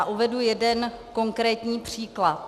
A uvedu jeden konkrétní příklad.